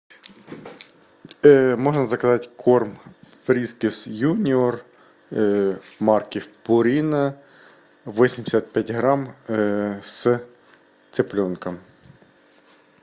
можно заказать корм фрискис юниор марки пурина восемьдесят пять грамм с цыпленком